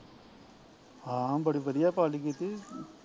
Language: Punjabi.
ਹਾਂ ਬੜੀ ਵਧੀਆ ਪਾਲਟੀ ਕੀਤੀ